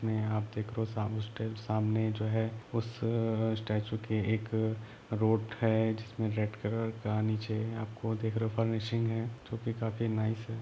उसमे आप देख रहे हो सामने स्टेट सामने जो है उस अ स्टेचू के एक रोड है जिसमे रेड कलर का नीचे आपको दिख रहा हो गा ऊपर मशीन है जो की काफी नाईस। है |